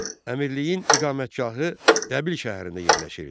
Əmirliyin iqamətgahı Dəbil şəhərində yerləşirdi.